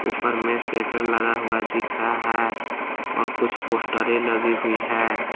ऊपर में सेटर लगा हुआ दिख रहा है और कुछ पोस्टरें लगी हुई हैं।